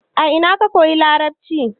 a ina ka koyi larabci?